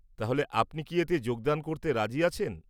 তাহলে আপনি কি এতে যোগদান করতে রাজি আছেন?